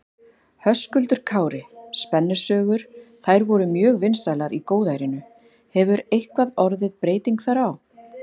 Höskuldur Kári: Spennusögur, þær voru mjög vinsælar í góðærinu, hefur eitthvað orðið breyting þar á?